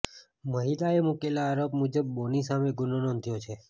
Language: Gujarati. મહિલાએ મુકેલા આરોપ મુજબ બોની સામે ગુનો નોંધ્યો છે